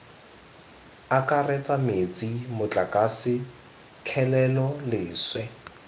akaretsa metsi motlakase kgelelo leswe